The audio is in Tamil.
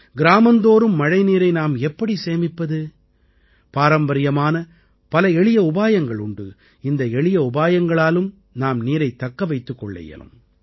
கிராமந்தோறும் மழை நீரை நாம் எப்படி சேமிப்பது பாரம்பரியமான பல எளிய உபாயங்கள் உண்டு இந்த எளிய உபாயங்களாலும் நாம் நீரைத் தக்க வைத்துக் கொள்ள இயலும்